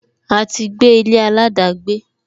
A ti gbé ilé aladagbe